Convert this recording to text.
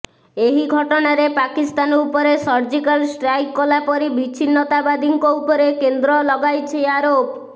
ଏହିଘଟଣାରେ ପାକିସ୍ତାନ ଉପରେ surgical strike କଲାପରି ବିଚ୍ଛିନ୍ନତାବାଦୀଙ୍କ ଉପରେ କେନ୍ଦ୍ର ଲଗାଇଛି ଆରୋପ